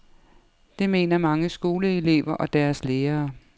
Det mener mange skoleelever og deres lærere.